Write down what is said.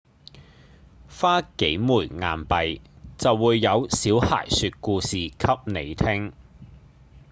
花幾枚硬幣就會有小孩說故事給你聽